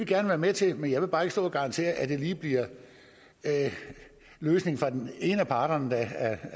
gerne være med til men jeg vil bare ikke stå og garantere at det lige bliver løsningen fra den ene af parterne der